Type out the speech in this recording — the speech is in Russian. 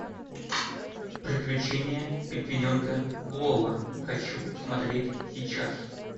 приключения пингвиненка лоло хочу смотреть сейчас